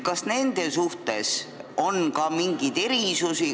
Kas nende suhtes on ka mingeid erisusi?